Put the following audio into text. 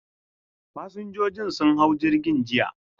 Fasinjojin sun hau jirgin jiya.